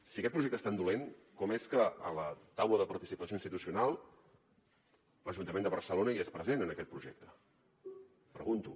si aquest projecte és tan dolent com és que a la taula de participació institucional l’ajuntament de barcelona hi és present en aquest projecte pregunto